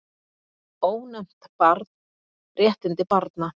Ónefnt barn: Réttindi barna.